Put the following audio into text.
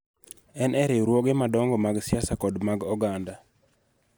En e riwruoge madongo mag siasa kod mag oganda.